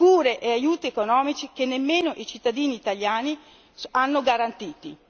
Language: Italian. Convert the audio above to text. Cure e aiuti economici che nemmeno i cittadini italiani hanno garantiti.